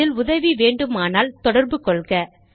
இதில் உதவி வேண்டுமானால் தொடர்பு கொள்க